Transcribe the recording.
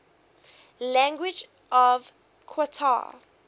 languages of qatar